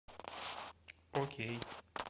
окей